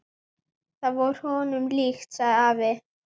Það var honum líkt, sagði afi.